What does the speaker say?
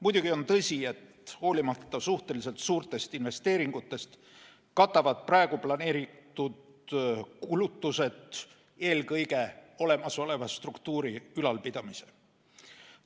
Muidugi on tõsi, et hoolimata suhteliselt suurtest investeeringutest katavad praegu planeeritud kulutused eelkõige olemasoleva struktuuri ülalpidamise.